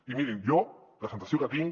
i mirin jo la sensació que tinc